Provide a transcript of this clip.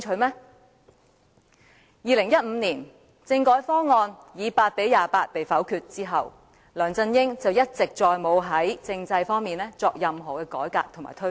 在2015年，政改方案以8票贊成、28票反對遭否決後，梁振英一直沒有再在政制方面作任何改革和推動。